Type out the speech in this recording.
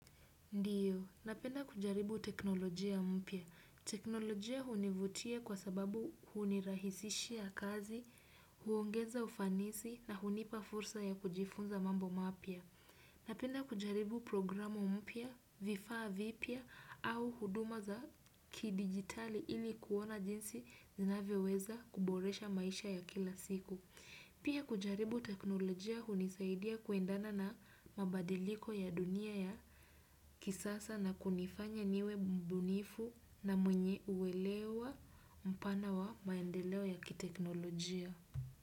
Ndiyo, napenda kujaribu teknolojia mpya. Teknolojia hunivutia kwa sababu hunirahisishia kazi, huongeza ufanisi na hunipa fursa ya kujifunza mambo mapya. Napenda kujaribu programu mpya, vifaa vipya au huduma za kidigitali ili kuona jinsi ninavyoweza kuboresha maisha ya kila siku. Pia kujaribu teknolojia hunisaidia kuendana na mabadiliko ya dunia ya kisasa na kunifanya niwe mbunifu na mwenye uwelewa mpana wa maendeleo ya kiteknolojia.